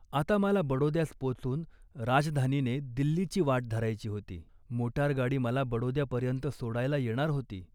आता मला बडोद्यास पोचून राजधानीने दिल्लीची वाट धरायची होती. मोटारगाडी मला बडोद्यापर्यंत सोडायला येणार होती